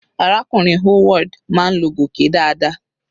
Arákùnrin Howard máa ń lo gòké dáadáa.